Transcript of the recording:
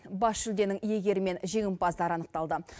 бас жүлденің иегері мен жеңімпаздар анықталды